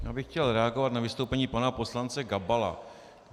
Já bych chtěl reagovat na vystoupení pana poslance Gabala.